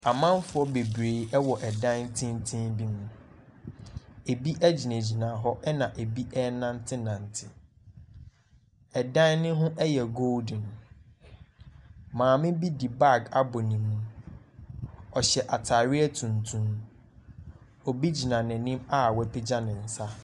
Amanfoɔ bebree wɔ dan tenten bi mu. Ebi gyinagyina hɔ, ɛnna ebi renantenante. Dan no ho yɛ Golden. Mmame bi de bag abɔ ne mu. Ɔhyɛ atareɛ tuntum. Obi gyina n'anim a wapagya ne nsa.